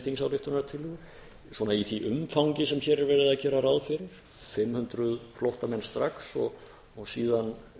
þingsályktunartillögu í því umfangi sem verið er að gera ráð fyrir fimm hundruð flóttamenn strax og síðan